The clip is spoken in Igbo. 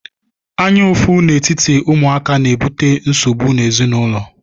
Anyaụfụ n'etiti ụmụaka na-ebute nsogbu n'ezinaụlọ.